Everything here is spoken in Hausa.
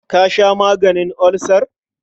Ka sha maganin ulcer?